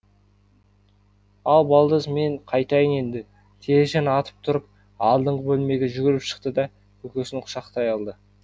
ал балдыз мен қайтайын енді телжан атып тұрып алдыңғы бөлмеге жүгіріп шықты да көкесін құшақтай алды